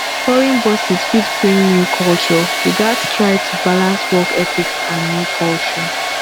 foreign bosses fit bring new culture we gats try to balance work ethics and new culture